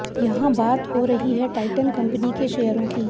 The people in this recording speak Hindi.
यहां बात हो रही है टाइटन कंपनी के शेयरों की